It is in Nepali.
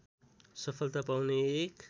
सफलता पाउने एक